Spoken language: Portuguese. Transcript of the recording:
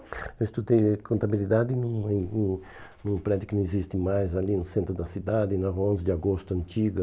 Eu estudei contabilidade num num num prédio que não existe mais ali no centro da cidade, na Rua onze de Agosto, antiga.